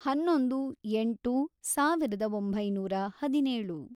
ಹನ್ನೊಂದು, ಎಂಟು, ಸಾವಿರದ ಒಂಬೈನೂರ ಹದಿನೇಳು